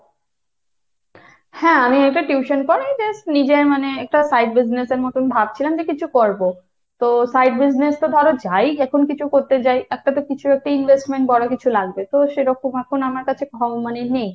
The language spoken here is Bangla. হ্যাঁ আমি একটা tuition পড়াই, just নিজের মানে একটা side business এর মতোন ভাবছিলাম যে কিছু করব। তো side business তো ধরো যাই এখন কিছু করতে যাই একটা তো কিছু একটা investment বড় কিছু লাগবে। তো সেরকম এখন আমার কাছে খ~ মানে নেই।